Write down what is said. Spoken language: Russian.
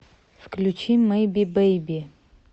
включи мэйби бэйби